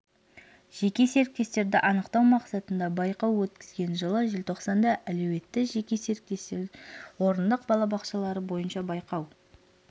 жеке серіктестерді анықтау мақсатында байқау өткізген жылы желтоқсанда әлеуетті жеке серіктестер орындық балабақшалары бойынша байқау